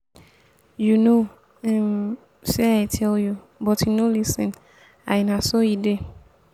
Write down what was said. you no um say i tell you but you no lis ten l na so he dey.